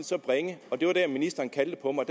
så bringe det var der ministeren kaldte på mig